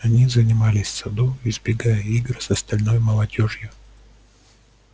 они занимались в саду избегая игр с остальной молодёжью